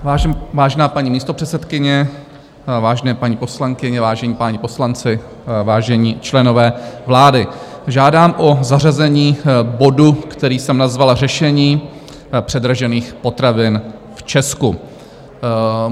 Vážená paní místopředsedkyně, vážené paní poslankyně, vážení páni poslanci, vážení členové vlády, žádám o zařazení bodu, který jsem nazval Řešení předražených potravin v Česku.